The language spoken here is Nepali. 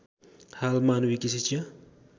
हाल मानविकी शिक्षा